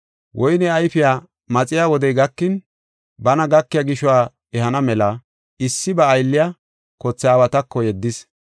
Woyne ayfiya maxiya wodey gakin, bana gakiya gishuwa ehana mela, issi ba aylliya kothe aawatako yeddis.